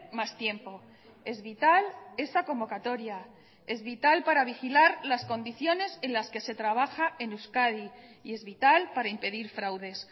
más tiempo es vital esa convocatoria es vital para vigilar las condiciones en las que se trabaja en euskadi y es vital para impedir fraudes